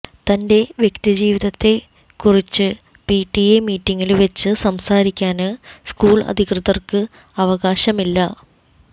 തന്റെ വ്യക്തി ജീവിതത്തെക്കുറിച്ച് പിടിഎ മീറ്റിങ്ങില് വെച്ച് സംസാരിക്കാന് സ്കൂള് അധികൃതര്ക്ക് അവകാശമില്ല